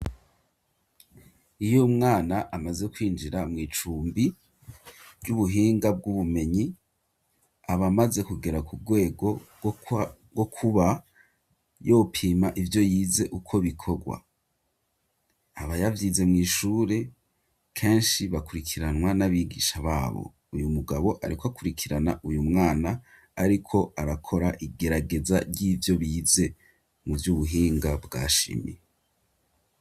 Iyo mwana amaze kwinjira mw'icumbi ry'ubuhinga bw'ubumenyi abamaze kugera ku bwego rwo kuba yopima ivyo yize uko bikorwa aba yavyize mw'ishure kenshi bakurikiranwa n'abigisha bae abo uyu mugabo areko akurikirana uyu mwana, ariko arakora igerageza ry'ivyo bize mu vyo ubuhinga bwa shimi.